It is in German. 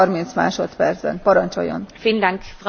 Frau Präsidentin, geschätzter Herr Kommissar!